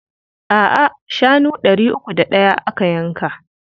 A'a, shanu ɗari uku da ɗaya aka yanka.